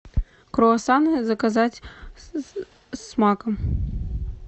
круассаны заказать с маком